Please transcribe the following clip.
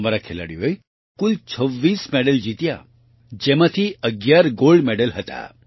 અમારા ખેલાડીઓએ કુલ 26 મેડલ જીત્યા જેમાંથી 11 ગોલ્ડ મેડલ ગોલ્ડમેડલ હતા